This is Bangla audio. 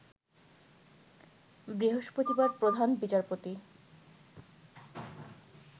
বৃহস্পতিবার প্রধান বিচারপতি